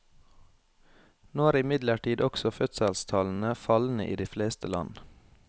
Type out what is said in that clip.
Nå er imidlertid også fødselstallene fallende i de fleste land.